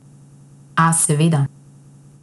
A, seveda!